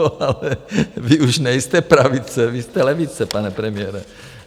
Jo, ale vy už nejste pravice, vy jste levice, pane premiére.